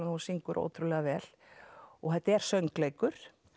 að hún syngur ótrúlega vel og þetta er söngleikur